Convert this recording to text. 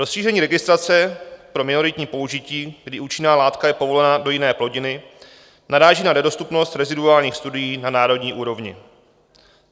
Rozšíření registrace pro minoritní použití, kdy účinná látka je povolená do jiné plodiny, naráží na nedostupnost reziduálních studií na národní úrovni.